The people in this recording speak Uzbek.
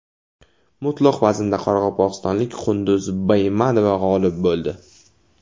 Mutlaq vaznda qoraqalpog‘istonlik Qunduz Baymanova g‘olib bo‘ldi.